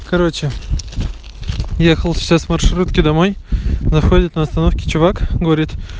короче ехал сейчас в маршрутке домой заходит на остановке чувак говорит